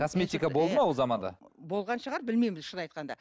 косметика болды ма ол заманда болған шығар білмеймін шынын айтқанда